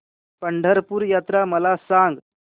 पंढरपूर यात्रा मला सांग